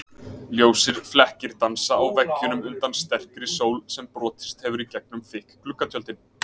Ljósir flekkir dansa á veggjunum undan sterkri sól sem brotist hefur í gegnum þykk gluggatjöldin.